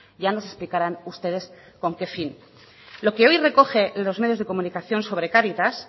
ya nos explicarán ustedes con qué fin lo que hoy recogen los medios de comunicación sobre cáritas